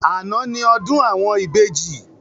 Àná ni ọdún àwọn ìbejì